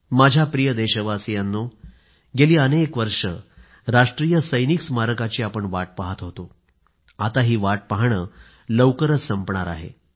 माझ्या प्रिय देशवासियांनो गेली अनेक वर्षे राष्ट्रीय सैनिक स्मारकाची आपण वाट पहात होतो आता ही वाट पाहणं लवकरच संपणार आहे